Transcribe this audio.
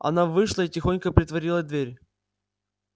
она вышла и тихонько притворила дверь